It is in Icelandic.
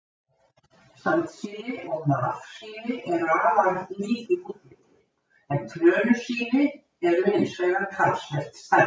Sandsíli og marsíli eru afar lík í útliti, en trönusíli eru hins vegar talsvert stærri.